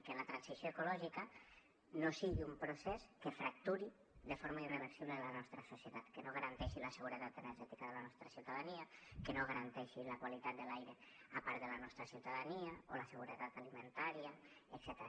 i que la transició ecològica no sigui un procés que fracturi de forma irreversible la nostra societat que no garanteixi la seguretat energètica de la nostra ciutadania que no garanteixi la qualitat de l’aire a part de la nostra ciutadania o la seguretat alimentària etcètera